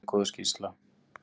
Mjög góð skýrsla.